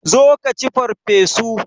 Zo ka ci farfesu!